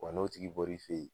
Wa n'o tigi bɔr'i fe yen